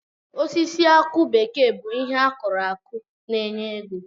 Osisi akụ bekee bụ ihe akụrụ akụ na-enye ego.